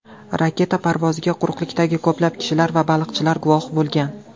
Raketa parvoziga quruqlikdagi ko‘plab kishilar va baliqchilar guvoh bo‘lgan.